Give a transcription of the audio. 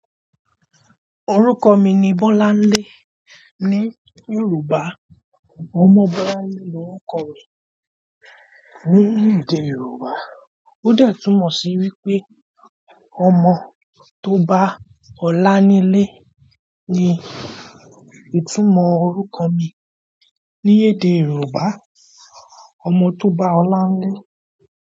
Orúkọ mi ni Bọ́láńlé. Ni Yorùbá, ọmọ Bọ́láńlé lorúkọ rẹ̀. Ni èdè Yorùbá ó dẹ̀ túmọ̀ sí wípé ọmọ tó bá ọlá nílé ni. Ìtunmọ̀ orúkọ mi ní èdè Yorùbá ọmọ tó bá ólá nílé.